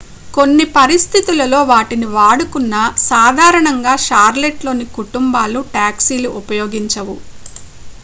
కొన్ని పరిస్థితులలో వాటిని వాడుకున్నా సాధారణంగా షార్లెట్లోని కుటుంబాలు టాక్సీలు ఉపయోగించవు